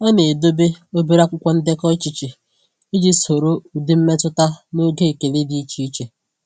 Ọ na-edobe obere akwụkwọ ndekọ echiche iji soro ụdị mmetụta na oge ekele dị iche iche.